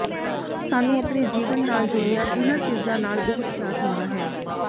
ਸਾਨੂੰ ਆਪਣੇ ਜੀਵਨ ਨਾਲ ਜੁੜੀਆਂ ਇਨ੍ਹਾਂ ਚੀਜ਼ਾਂ ਨਾਲ ਬਹੁਤ ਪਿਆਰ ਹੁੰਦਾ ਹੈ